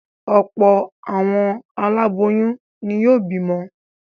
Ọ̀pọ̀ àwọn aláboyún ni yóò bímọ.